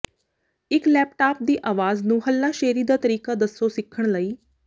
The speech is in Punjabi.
ਇੱਕ ਲੈਪਟਾਪ ਤੇ ਆਵਾਜ਼ ਨੂੰ ਹੱਲਾਸ਼ੇਰੀ ਦਾ ਤਰੀਕਾ ਦੱਸੋ ਸਿੱਖਣ ਲਈ